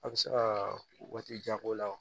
A bɛ se ka waati jan k'o la